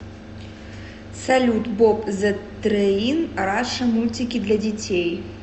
салют боб зэ трэин раша мультики для детей